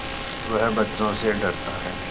वह बच्चों से डरता है